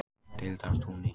Deildartúni